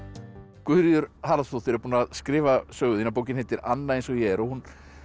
Guðríður Haraldsdóttir er búin að skrifa sögu þína bókin heitir Anna eins og ég er og hún